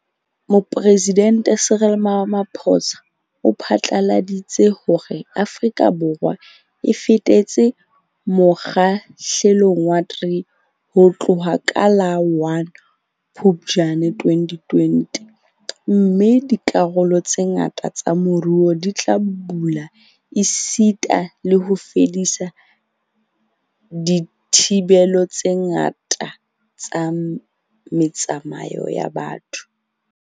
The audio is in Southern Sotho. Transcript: Mopresidente Cyril Ramaphosa o phatlaladitse hore Afrika Borwa e fetetse Mo kgahlelong wa 3 ho tloha ka la 1 Phuptjane 2020 - mme dikarolo tse ngata tsa moruo di tla bula esita le ho fedisa dithibelo tse ngata tsa me tsamao ya batho.